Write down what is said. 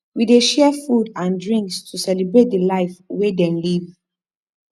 we dey share food and drinks to celebrate di life wey dem live